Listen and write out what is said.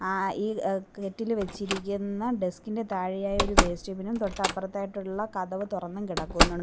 ആ ഈ കെറ്റിൽ വെച്ചിരിക്കുന്ന ഡെസ്കിൻ്റെ താഴെയായി ഒരു വേസ്റ്റ് ബിന്നും തൊട്ടപ്പുറത്തായിട്ടുള്ള കതവ് തൊറന്നും കിടക്കുന്നൊ --